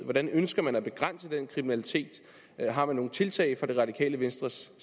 hvordan ønsker man at begrænse den kriminalitet har man nogen tiltag fra det radikale venstres